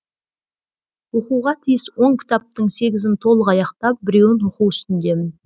оқуға тиіс он кітаптың сегізін толық аяқтап біреуін оқу үстіндемін